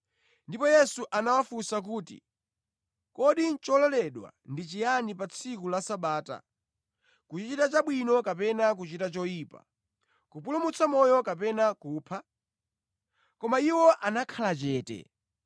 Ndipo Yesu anawafunsa kuti, “Kodi chololedwa ndi chiyani pa tsiku la Sabata: kuchita chabwino kapena kuchita choyipa, kupulumutsa moyo kapena kupha?” Koma iwo anakhala chete.